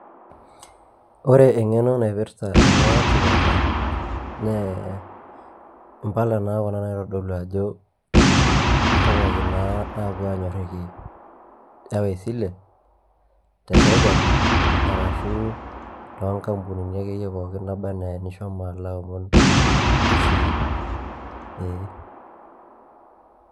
ore engeno naipirta ena kipirta, naa impala naa kuna naitodolu ajo kihomoki aanyoraki iwa esile, te sirkali, arashu too nkampunini akeyie pookin naaba anaa inishomo aomon esile. eeh.